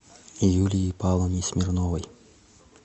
юлии павловне смирновой